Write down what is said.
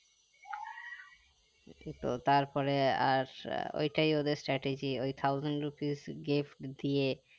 তো তারপরে আর ঐটাই ওদের strategy ওই thousand rupees gift দিয়ে